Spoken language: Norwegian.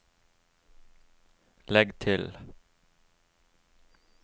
legg til